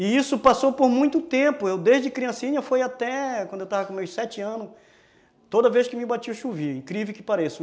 E isso passou por muito tempo, eu desde criancinha foi até, quando eu estava com meus sete anos, toda vez que me batia chovia, incrível que pareça.